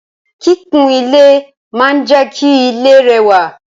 Kikun ile maa n je ki ile rewa